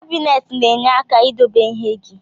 Kabinet na enye aka idobe ihe gi.